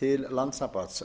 til landssamband